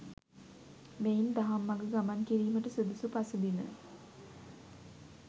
මෙයින් දහම් මඟ ගමන් කිරීමට සුදුසු පසුබිම